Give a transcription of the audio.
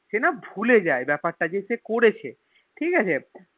সেনা ভুলে যায় বেপার টা যে সে করেছে ঠিকাছে